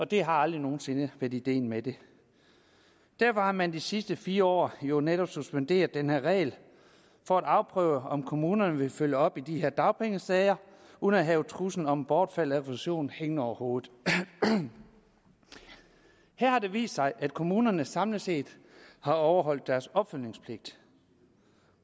det har aldrig nogen sinde været ideen med det derfor har man de sidste fire år jo netop suspenderet denne regel for at afprøve om kommunerne vil følge op i de her dagpengesager uden at have en trussel om bortfald af refusion hængende over hovedet her har det vist sig at kommunerne samlet set har overholdt deres opfølgningspligt